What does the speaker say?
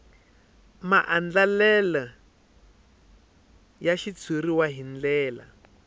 maandlalelo ya xitshuriwa hi ndlela